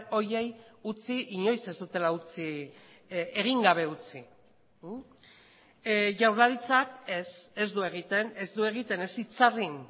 horiei utzi inoiz ez dutela utzi egin gabe utzi jaurlaritzak ez ez du egiten ez du egiten ez itzarrin